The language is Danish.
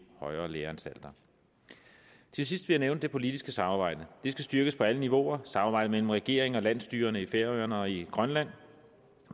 højere læreanstalter til sidst vil jeg nævne det politiske samarbejde det skal styrkes på alle niveauer samarbejdet mellem regeringen og landsstyrerne i færøerne og i grønland